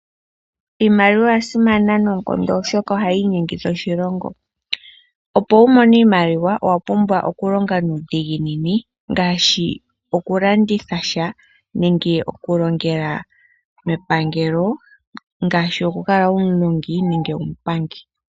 Iimaliwa oya simana noonkondo , oshoka ohayi inyengitha oshilongo , opo wu mone iimaliwa , owa pumbwa oku longa nuudhiginini ngaashi : okulanditha sha nenge okulongela mepangelo ngaashi : okukala muulongi nande muupangi .